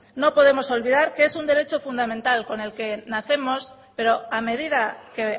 no podemos olvidar que es un derecho fundamental con el que nacemos pero a medida que